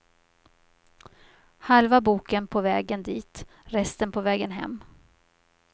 Halva boken på vägen dit, resten på vägen hem.